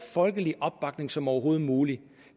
folkelig opbakning som overhovedet muligt